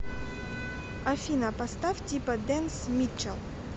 афина поставь типа дэнс митчел